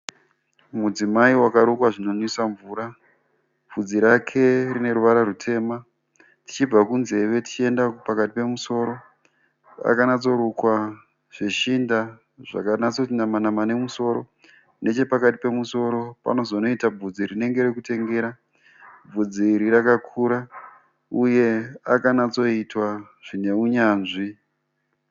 Mudzimai wakarukwa zvinonwisa mvura. Vhudzi rake rine ruvara rutema. Tichibva kunzeve tichienda pakati pemusoro pakanyatsorukwa zveshinda zvakanyatsoti nama nama nemusoro. Nechepakati pemusoro panozonoita vhudzi rinenge rokutengera. Vhudzi iri rakanyatsokura uye akanyatsoitwa zvine unyanzvi.